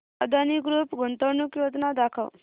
Adani group गुंतवणूक योजना दाखव